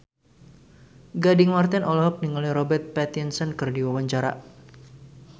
Gading Marten olohok ningali Robert Pattinson keur diwawancara